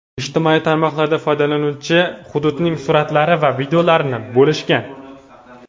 Ijtimoiy tarmoqlarda foydalanuvchilar hududning suratlari va videolarini bo‘lishgan.